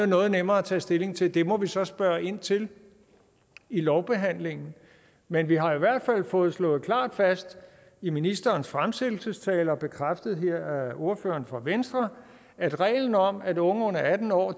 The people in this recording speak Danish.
noget nemmere at tage stilling til det må vi så spørge ind til i lovbehandlingen men vi har jo i hvert fald fået slået klart fast i ministerens fremsættelsestale og bekræftet her af ordføreren for venstre at reglen om at unge under atten år